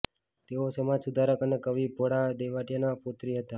તેઓ સમાજ સુધારક અને કવિ ભોળાભાઇ દિવેટીયાના પૌત્રી હતા